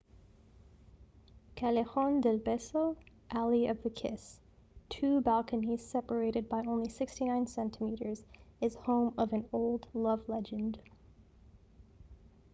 callejon del beso alley of the kiss. two balconies separated by only 69 centimeters is home of an old love legend